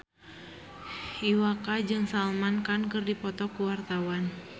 Iwa K jeung Salman Khan keur dipoto ku wartawan